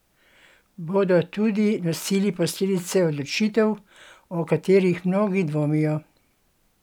Bodo tudi nosili posledice odločitev, o katerih mnogi dvomijo?